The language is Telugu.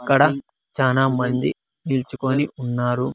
ఇక్కడ చానామంది నిల్చుకొని ఉన్నారు.